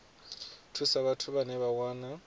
thusa vhathu vhane vha wana